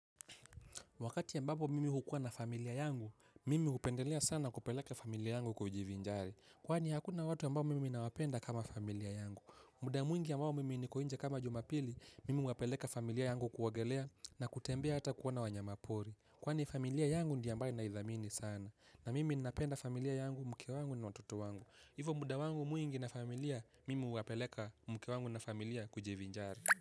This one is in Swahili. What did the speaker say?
Wakati ambapo mimi hukua na familia yangu, mimi hupendelea sana kupeleka familia yangu kujivinjari. Kwani hakuna watu ambao mimi nawapenda kama familia yangu. Muda mwingi ambao mimi niko nje kama jumapili, mimi huwapeleka familia yangu kuogelea na kutembea hata kuona wanyamapori. Kwani familia yangu ndiyo ambayo naithamini sana. Na mimi ninapenda familia yangu mke wangu na watoto wangu. Hivo muda wangu mwingi na familia, mimi huwapeleka mke wangu na familia kujivinjari.